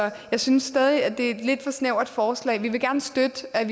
jeg synes stadig at det er et lidt for snævert forslag vi vil gerne støtte at